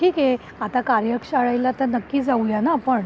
ठीक आहे. आता कार्यशाळेला तर नक्की जाऊ या ना आपण?